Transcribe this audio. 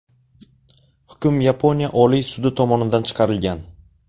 Hukm Yaponiya Oliy sudi tomonidan chiqarilgan.